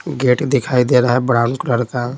Gate दिखाई दे रहा है ब्राउन कलर का।